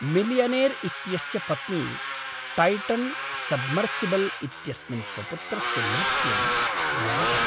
Millionaire इत्यस्य पत्नी Titan submersible इत्यस्मिन् स्वपुत्रस्य मृत्युं व्यलपत्।